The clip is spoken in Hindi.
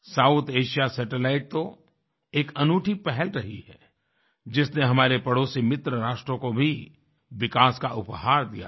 साउथ एशिया सैटेलाइटस तो एक अनूठी पहल रही है जिसने हमारे पड़ोसी मित्र राष्ट्रों को भी विकास का उपहार दिया है